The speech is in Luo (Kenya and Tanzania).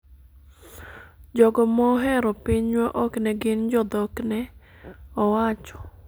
jogo mohero pinywa ok ne gin jodhok,'ne owacho